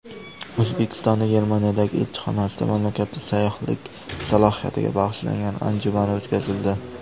O‘zbekistonning Germaniyadagi elchixonasida mamlakatning sayyohlik salohiyatiga bag‘ishlangan anjuman o‘tkazildi.